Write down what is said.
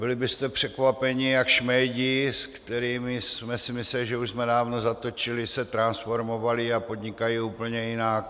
Byli byste překvapeni, jak šmejdi, s kterými jsme si mysleli, že už jsme dávno zatočili, se transformovali a podnikají úplně jinak.